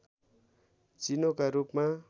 चिनोका रूपमा